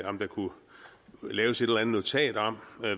om der kunne laves et eller andet notat om